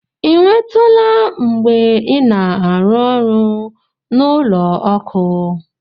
Ị nwetụla mgbe ị na-arụ ọrụ n'ụlọ ọkụ?